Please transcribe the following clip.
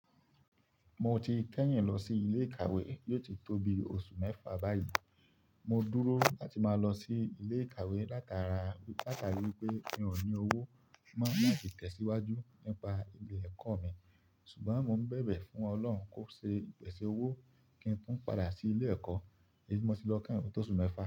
Mo ti kẹ́yìn lọ sí ilé ìkàwé yóò ti tó bi oṣù mẹ́fà báyìí. Mo dúró láti máa lọ sí ilé ìkàwé látara, látara wípé mi ò ní owó máa sì tẹ̀síwájú nípa ilé ẹ̀kọ́ mi. Ṣùgbọ́n mo ń bẹ̀bẹ̀ fún Ọlọ́run kó ṣe ìpèsè owó kí n tún padà sí ilé ẹ̀kọ́, èyí tí mo ti lọ kẹ́yìn tó oṣù mẹ́fà.